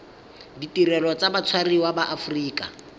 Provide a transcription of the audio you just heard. ditirelo tsa batshwariwa ba aforika